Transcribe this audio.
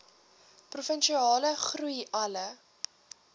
provinsiale groei alle